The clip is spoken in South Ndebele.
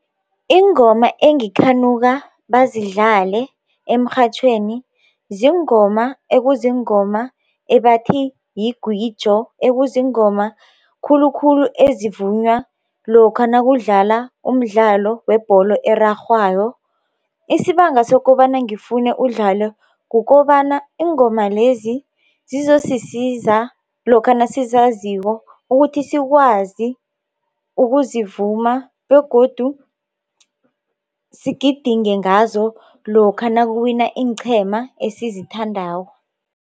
Iingoma engikhanuka bazidlale emrhatjhweni ziingoma ekuziingoma ebathi yingwijo ekuzingoma khulukhulu ezivunywa lokha nakudlala umdlalo webholo erarhwako, isibanga sokobana ngifune udlalwe kukobana iingoma lezi zizosisiza lokha nasizaziko ukuthi sikwazi ukuzivuma begodu sigidinge ngazo lokha nakuwina iinqhema esizithandako.